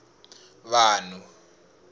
vanhu